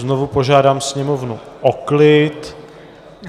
Znovu požádám Sněmovnu o klid.